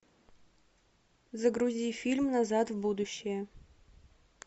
загрузи фильм назад в будущее